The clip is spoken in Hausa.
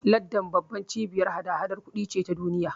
Landan babbar cibiyar hada-hadar kudi ce ta duniya.